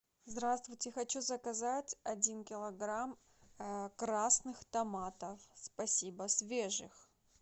здравствуйте хочу заказать один килограмм красных томатов спасибо свежих